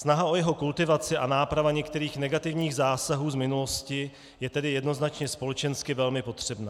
Snaha o jeho kultivaci a náprava některých negativních zásahů z minulosti je tedy jednoznačně společensky velmi potřebná.